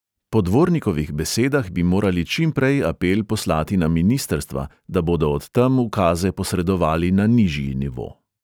Po dvornikovih besedah bi morali čimprej apel poslati na ministrstva, da bodo od tam ukaze posredovali na nižji nivo.